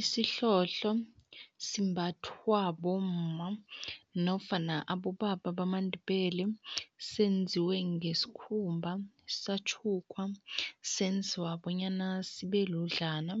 Isihlohlo simbathwa bomma nofana abobaba bamaNdebele. Senziwe ngesikhumba, satjhukwa, senzwa bonyana sibe ludlana,